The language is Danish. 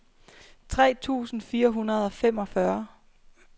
tre tusind fire hundrede og femogfyrre